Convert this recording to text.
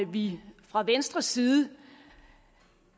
vi fra venstres side